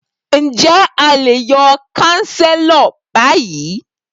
Ǹjẹ́ a lè yọ kánsílọ̀ bi?